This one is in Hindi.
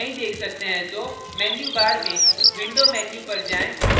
menu bar में window menu पर जाएँ